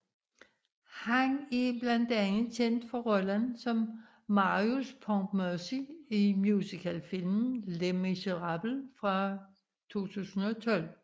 Han er blandt andet kendt for rollen som Marius Pontmercy i musicalfilmen Les Miserables fra 2012